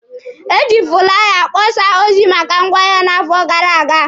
E ji fụlaya kpọsaa ozi maka ngwaahịa n'afọ gara aga.